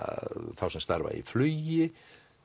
þá sem starfa í flugi